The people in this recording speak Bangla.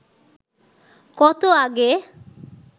কত আগে